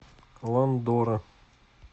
ландора